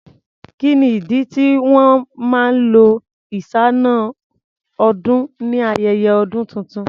Kí ni ìdí tí wọn máa lo iṣáná-ọdún ni ayẹyẹ ọdún tuntun?